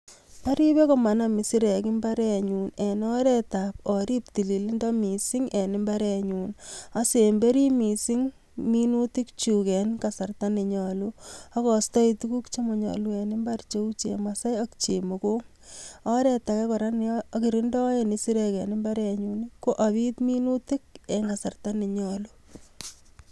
Oripe komanam isirek imbarenyun en oretab orib tililindo mising en imbarenyun. Osemberi mising minutikchuk en kasarta nenyolu, okostoi tukuk chomonyolu en imbarenyun cheu chemasai ak chemokong ak oret ake neokirindoen isirek en imbarenyun ko opit minutik en kasarta nenyolu.